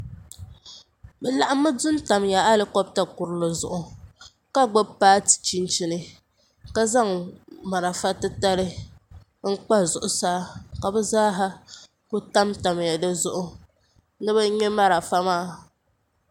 bi laɣammi du tam alikobta kurili zuɣu ka gbubi paati chinchini ka zaŋ marafa titali n kpa zuɣusaa ka bi zaaha ku tamtamya dizuɣu ni bi ŋmɛ marafa maa